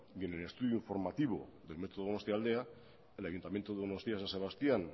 y en el estudio formativo del metro donostialdea el ayuntamiento donostia san sebastián